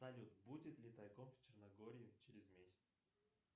салют будет ли тайком в черногории через месяц